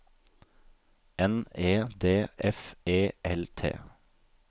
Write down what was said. N E D F E L T